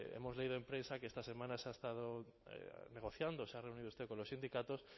hemos leído en prensa que esta semana se ha estado negociando se ha reunido usted con los sindicatos